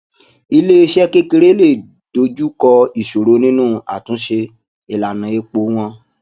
iléeṣé kékeré lè dojú kọ ìṣòro nínú àtúnṣe ìlànà epo wọn